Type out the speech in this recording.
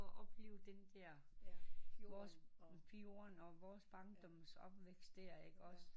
For at opleve den der vores fjorden og vores barndomsopvækst der også